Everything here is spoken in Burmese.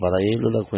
ဘာသာရေးလွတ်လပ်ခွင့